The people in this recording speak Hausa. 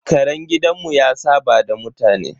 Karen gidanmu ya saɓa da mutane.